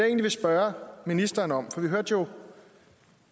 egentlig spørge ministeren om noget for vi hørte jo